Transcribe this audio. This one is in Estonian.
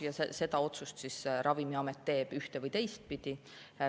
Ja selle otsuse Ravimiamet teeb ühte- või teistpidi.